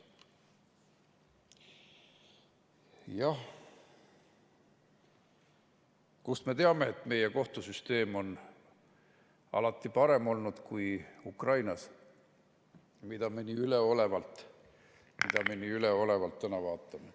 Jah, kust me teame, et meie kohtusüsteem on alati parem olnud kui Ukrainas, mida me nii üleolevalt täna vaatame?